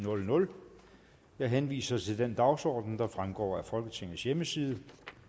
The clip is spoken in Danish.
jeg henviser til den dagsorden der fremgår af folketingets hjemmeside